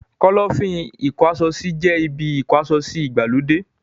Kọ́lọ́fín ìkó aṣọ sí jẹ́ ibi ìkó asọsí ìgbàlódé.